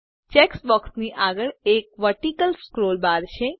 check બૉક્સની આગળ એક વર્ટીકલ સ્ક્રોલ બાર છે